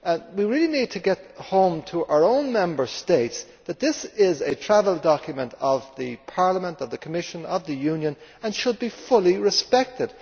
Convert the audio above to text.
We really need to bring home to our own Member States that this is a travel document of Parliament, the Commission and of the Union and should be fully respected.